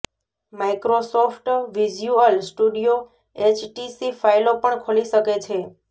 Microsoft visual studio HTC ફાઇલો પણ ખોલી શકે છે